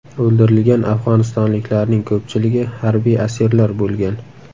O‘ldirilgan afg‘onistonliklarning ko‘pchiligi harbiy asirlar bo‘lgan.